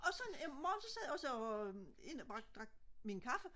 og så en morgen så sad jeg jo så inde og drak min kaffe